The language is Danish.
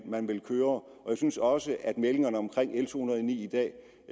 man vil køre og jeg synes også at meldingerne om l to hundrede og ni i dag